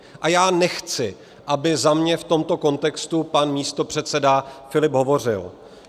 A já nechci, aby za mě v tomto kontextu pan místopředseda Filip hovořil.